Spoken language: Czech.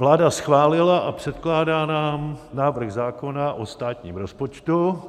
Vláda schválila a předkládá nám návrh zákona o státním rozpočtu,